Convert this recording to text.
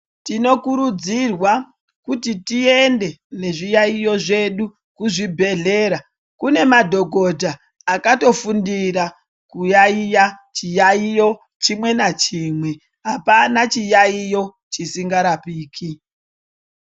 Tinokurudzirwa kuti tiende ne zviyayiyo zvedu ku zvibhedhlera kune madhokota akato fundira kuyayiya chiyayiyo chimwe na chimwe apana chiyayiyo chisinga rapiki.